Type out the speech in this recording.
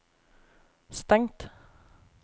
stengt